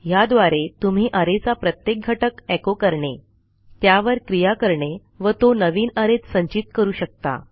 ह्याद्वारे तुम्ही अरे चा प्रत्येक घटक एचो करणे त्यावर क्रिया करणे वा तो नवीन arrayत संचित करू शकता